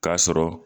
K'a sɔrɔ